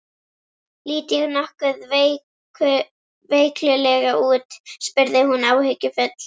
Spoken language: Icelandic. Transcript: Lít ég nokkuð veiklulega út? spurði hún áhyggjufull.